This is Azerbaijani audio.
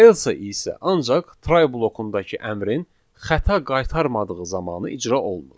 Else isə ancaq try blokundakı əmrin xəta qaytarmadığı zamanı icra olunur.